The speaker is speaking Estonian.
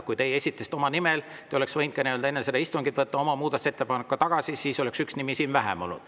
Kui teie esitasite selle oma nimel, siis te oleks võinud enne seda istungit oma muudatusettepaneku tagasi võtta ja siis oleks siin üks nimi vähem olnud.